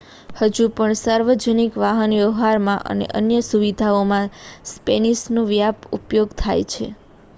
હજુ પણ સાર્વજનિક વાહનવ્યવહારમાં અને અન્ય સુવિધાઓમાં સ્પેનિશનો વ્યાપક ઉપયોગ થાય છે